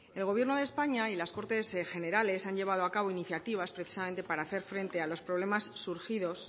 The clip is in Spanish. el gobierno de españa y las cortes generales han llevado a cabo iniciativas precisamente para hacer frente a los problemas surgidos